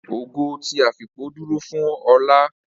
Ogo ti afipo dúró fún olá